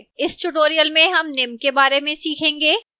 इस tutorial में हम निम्न के बारे में सीखेंगे :